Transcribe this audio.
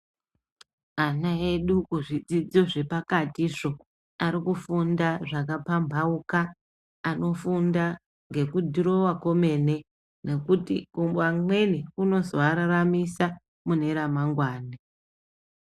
Ana edu kuzvidzidzo zvepakatizvo, ari kufunda zvakapambauka. Anofunda ngekudhirowa komene, nekuti wamweni kunozoararamisa mune ramangwani.